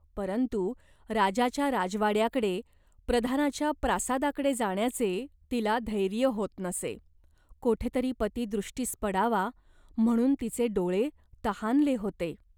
परंतु राजाच्या राजवाड्याकडे, प्रधानाच्या प्रासादाकडे जाण्याचे तिला धैर्य होत नसे. कोठे तरी पती दृष्टीस पडावा म्हणून तिचे डोळे तहानले होते.